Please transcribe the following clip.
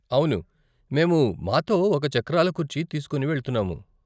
అవును, మేము మాతో ఒక చక్రాల కుర్చీ తీసుకుని వెళ్తున్నాము.